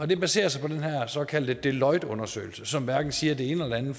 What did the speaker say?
det baserer sig på den såkaldte deloitteundersøgelse som hverken siger det ene eller det